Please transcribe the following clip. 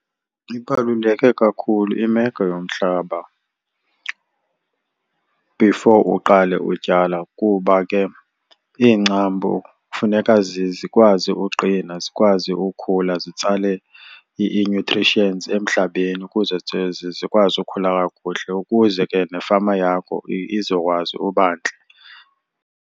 Ibaluleke kakhulu imeko yomhlaba before uqale utyala kuba ke iingcambu kufuneka zikwazi uqina, zikwazi ukhula zitsale ii-nutrients emhlabeni ukuze zikwazi ukukhula kakuhle ukuze ke nefama yakho izokwazi uba ntle.